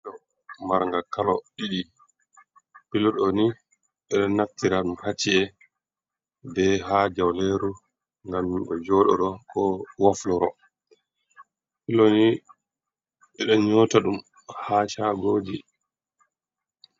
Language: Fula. Do margal kolo ɗiɗi ,pilo ɗoni ɓedo naftira dum haci’e be ha jauleru gam bo jododo, ko wofloro piloni ɓedon nyota dum ha shagoji.